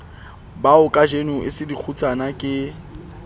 baokajeno e sengele dikgutsanakgudu ke